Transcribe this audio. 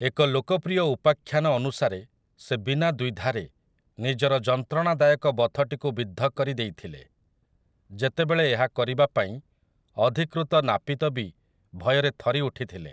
ଏକ ଲୋକପ୍ରିୟ ଉପାଖ୍ୟାନ ଅନୁସାରେ ସେ ବିନା ଦ୍ୱିଧାରେ ନିଜର ଯନ୍ତ୍ରଣାଦାୟକ ବଥଟିକୁ ବିଦ୍ଧ କରି ଦେଇଥିଲେ, ଯେତେବେଳେ ଏହା କରିବା ପାଇଁ ଅଧିକୃତ ନାପିତ ବି ଭୟରେ ଥରି ଉଠିଥିଲେ ।